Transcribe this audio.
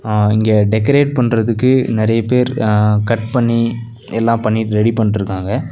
அ இங்க டெகரேட் பண்றதுக்கு நறைய பேர் அ கட் பண்ணி எல்லா பண்ணிட் ரெடி பண்ணிட்ருக்காங்க.